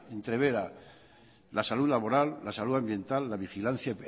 entrevera la salud labora la salud ambiental la vigilancia